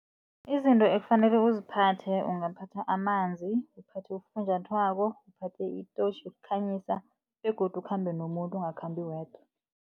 Izinto ekufanele uziphathe ungaphatha amanzi, uphathe ufunjathwako, uphathe itotjhi yokukhanyisa begodu ukhambe nomuntu, ungakhambi wedwa.